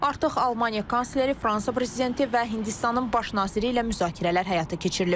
Artıq Almaniya kansleri, Fransa prezidenti və Hindistanın Baş naziri ilə müzakirələr həyata keçirilib.